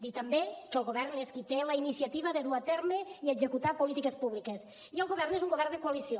dir també que el govern és qui té la iniciativa de dur a terme i executar polítiques públiques i el govern és un govern de coalició